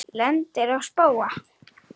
Lendir á spóa.